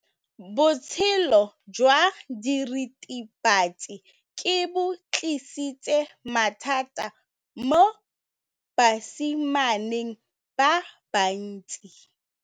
Botshelo jwa diritibatsi ke bo tlisitse mathata mo basimaneng ba bantsi.